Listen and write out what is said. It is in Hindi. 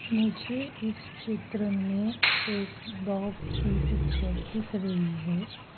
मुझे इस चित्र में एक डॉग की पिक्चर दिख रही है।